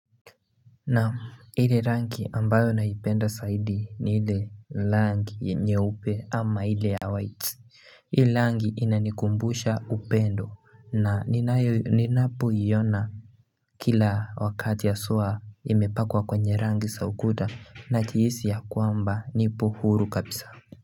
Naam ile rangi ambayo naipenda zaidi ni ile rangi nyeupe ama ile ya white Hii rangi inanikumbusha upendo na ninayo ninapo iona Kila wakati haswa imepakwa kwenye rangi za ukuta n jihisi ya kwamba nipo huru kabisa.